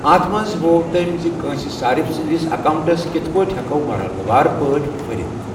اَتھ منٛز ہوو تمۍ ز کٲنسہ صارف سٕنٛدِس اکاونٹَس کِتھ پٲٹھۍ ہیکَو مرحلہ وار پٲٹھۍپھٔرِتھ ۔